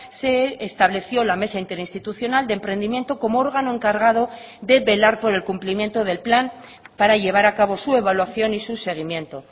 se estableció la mesa interinstitucional de emprendimiento como órgano encargado de velar por el cumplimiento del plan para llevar a cabo su evaluación y su seguimiento